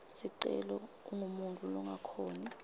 sicelo ungumuntfu longakhoni